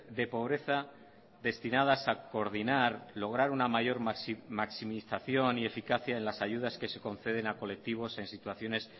de pobreza destinadas a coordinar lograr una mayor maximización y eficacia en las ayudas que se conceden a colectivos en situaciones